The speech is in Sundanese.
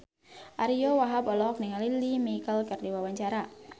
Ariyo Wahab olohok ningali Lea Michele keur diwawancara